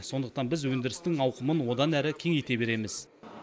сондықтан біз өндірістің ауқымын одан әрі кеңейте береміз